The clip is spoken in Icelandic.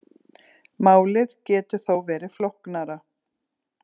Málið getur þó verið flóknara.